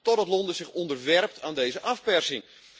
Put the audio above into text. totdat Londen zich onderwerpt aan deze afpersing.